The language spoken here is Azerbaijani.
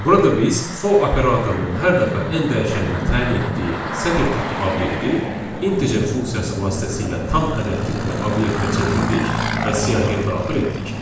Burada biz fo operatorunun hər dəfə n dəyişəninə təyin etdiyi sətir tipli obyekti integer funksiyası vasitəsilə tam ədəd tipli obyektə çevirdik və siyahıya daxil etdik.